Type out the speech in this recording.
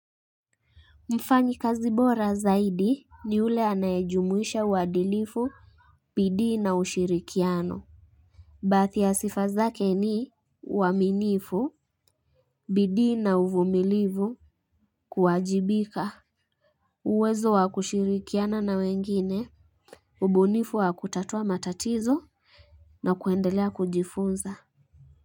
Mfanyi kazi bora zaidi ni ule anayajumuisha wadilifu bidii na ushirikiano. Bathi ya sifa zake ni waminifu bidii na uvumilivu kuwajibika. Uwezo wa kushirikiana na wengine ubunifu wa kutatua matatizo na kuendelea kujifunza kwa hivyo.